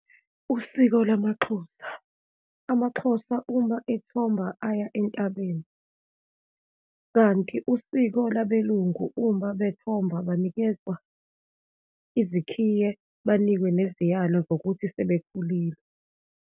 Usiko lamaXhosa. AmaXhosa uma ethomba aya entabeni, kanti usiko labeLungu uma bethomba banikezwa izikhiye, banikwe neziyalo zokuthi sebekhulile.